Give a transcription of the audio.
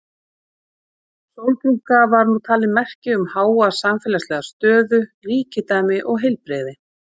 Sólbrúnka var nú talin merki um háa samfélagslega stöðu, ríkidæmi og heilbrigði.